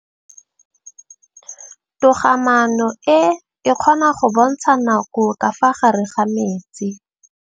Toga-maanô e, e kgona go bontsha nakô ka fa gare ga metsi.